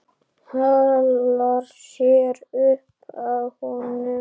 Svona og svona.